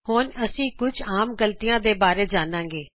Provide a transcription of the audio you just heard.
ਹੁਣ ਅਸੀਂ ਕੁਛ ਆਮ ਗਲਤੀਆਂ ਬਾਰੇ ਜਾਨਾਂ ਗੇ